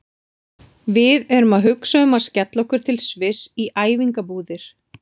Við erum að hugsa um að skella okkur til Sviss í æfingabúðir.